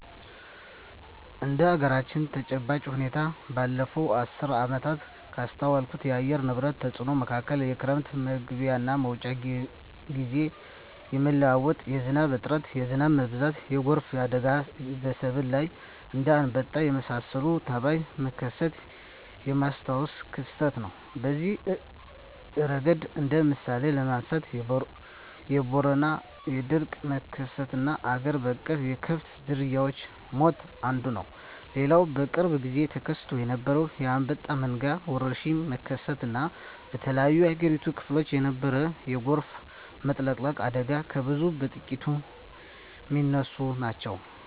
እንደ አገራችን ተጨባጭ ሁኔታ ባለፋት አስርት ዓመታት ካስተዋልኳቸው የአየር ንብረት ተጽኖ መካከል የክረም መግቢያና መውጫ ግዜ የመለዋወጥ፣ የዝናብ እጥረት፣ የዝናብ መብዛት፣ የጎርፍ አደጋና በሰብል ላይ እንደ አንበጣ የመሳሰለ ተባይ መከሰት የማስታውሰው ክስተት ነው። በዚህ እረገድ እንደ ምሳሌ ለማንሳት የቦረና የድርቅ መከሰትና አገር በቀል የከብት ዝርያወች ሞት አንዱ ነው። ሌላው በቅርብ ግዜ ተከስቶ የነበረው የአንበጣ መንጋ ወረርሽኝ መከሰት እና በተለያዮ የአገሪቱ ክፍሎች የነበረው የጎርፍ መጥለቅለቅ አደጋ ከብዙ በጥቂቱ ሚነሱ ናቸው።